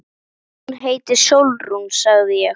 Hún heitir Sólrún, sagði ég.